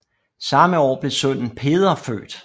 Samme år blev sønnen Peder født